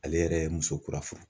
Ale yɛrɛ ye muso kura fɔ.